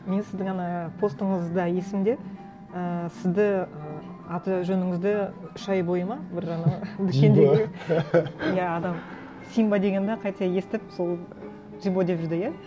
мен сіздің ана постыңызда есімде ііі сізді ы аты жөніңізді үш ай бойы ма бір ана дүкендегі иә адам симба деген де қате естіп сол джибо деп жүрді иә